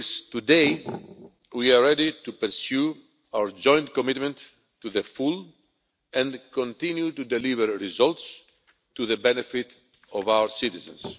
rules. Today, we are ready to pursue our joint commitment to the full and continue to deliver results for the benefit of our citizens.